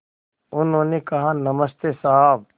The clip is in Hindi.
उन्होंने कहा नमस्ते साहब